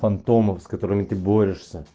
фантомов с которыми ты борешься